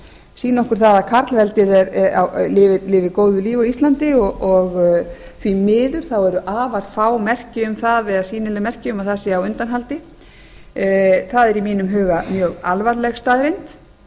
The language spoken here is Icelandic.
sýni okkur það að karlveldið lifir góðu lífi á íslandi og því miður eru afar fá merki um það eða sýnileg merki um að það sé á undanhaldi það er í mínum huga mjög alvarleg staðreynd